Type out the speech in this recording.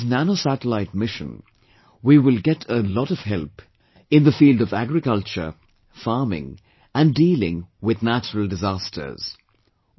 And with India's Nano Satellite Mission, we will get a lot of help in the field of agriculture, farming, and dealing with natural disasters